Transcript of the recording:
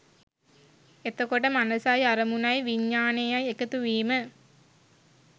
එතකොට මනසයි අරමුණයි විඤ්ඤාණයයි එකතු වීම